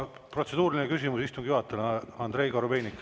Protseduuriline küsimus istungi juhatajale, Andrei Korobeinik.